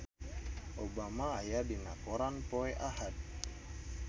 Obama aya dina koran poe Ahad